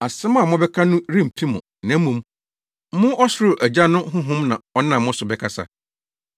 Asɛm a mobɛka no remfi mo, na mmom, mo ɔsoro Agya no honhom na ɔnam mo so bɛkasa.